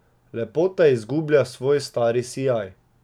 Lepota izgublja svoj stari sijaj.